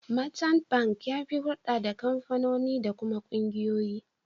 Merchant Bank ya fi hurɗa da kamfanoni da kuma ƙungiyoyi.